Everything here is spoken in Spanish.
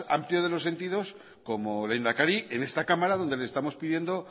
amplio de los sentidos como lehendakari en esta cámara donde le estamos pidiendo